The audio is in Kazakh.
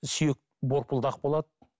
сүйек борпылдақ болады